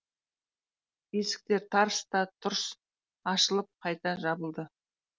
есіктер тарс та тұрс ашылып қайта жабылды